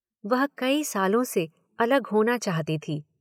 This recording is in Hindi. वह कई सालों से अलग होना चाहती थी।